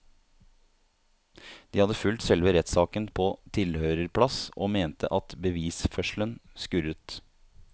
De hadde fulgt selve rettssaken på tilhørerplass og mente at bevisførselen skurret.